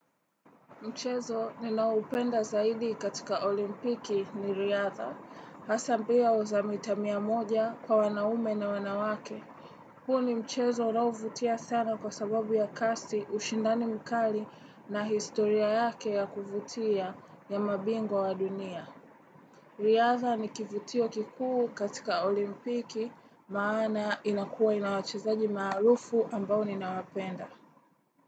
Mchezo ninaoupenda zaidi katika olimpiki ni riadha. Hasa mbio za mita mia moja kwa wanaume na wanawake. Huo ni mchezo unaovutia sana kwa sababu ya kasi, ushindani mkali na historia yake ya kuvutia ya mabingwa wa dunia. Riadha ni kivutio kikuu katika olimpiki maana inakua inawachezaji maarufu ambao ninawapenda.